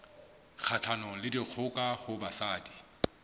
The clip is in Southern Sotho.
kgahlanong le dikgoka ho basadi